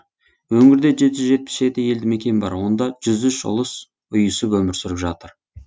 өңірде жеті жүз жетпіс жеті елді мекен бар онда жүз үш ұлыс ұйысып өмір сүріп жатыр